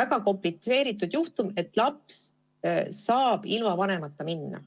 väga komplitseeritud juhtumiga, et laps saaks ilma vanemata minna.